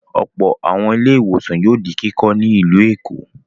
Ọ̀pọ̀ àwọn ilé-ìwòsàn yóò di kíkọ́ ní ìlú Èkó.